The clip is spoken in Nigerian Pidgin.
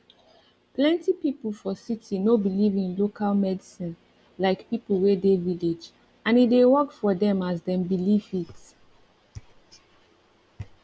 plent pipu for city no belive in local medicine like pipu wey de village and e dey work for dem as dem belivefit